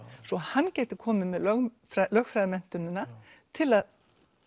svo hann gæti komið með lögfræðimenntunina til að